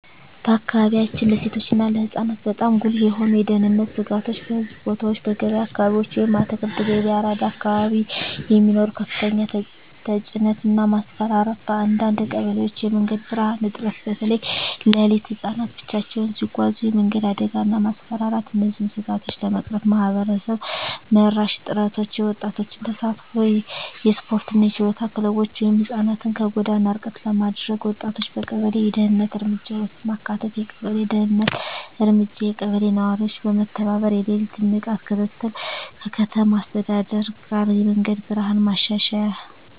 በአካባቢያችን ለሴቶች እና ለህፃናት በጣም ጉልህ የሆኑ የደህንነት ስጋቶች :- በሕዝብ ቦታዎች *በገበያ አካባቢዎች (አትክልት ገበያ፣ አራዳ አካባቢ) የሚኖር ከፍተኛ ተጭነት እና ማስፈራራት *በአንዳንድ ቀበሌዎች የመንገድ ብርሃን እጥረት (በተለይ ሌሊት) *ህፃናት ብቻቸውን ሲጓዙ የመንገድ አደጋ እና ማስፈራራት እነዚህን ስጋቶች ለመቅረፍ ማህበረሰብ መራሽ ጥረቶች :- የወጣቶች ተሳትፎ *የስፖርትና የችሎታ ክለቦች (ህፃናትን ከጎዳና ርቀት ለማድረግ) *ወጣቶችን በቀበሌ የደህንነት እርምጃ ውስጥ ማካተት የቀበሌ ደህንነት እርምጃ *የቀበሌ ነዋሪዎች በመተባበር የሌሊት ንቃት ክትትል *ከከተማ አስተዳደር ጋር የመንገድ ብርሃን ማሻሻያ